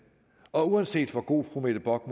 og uanset hvor god fru mette bock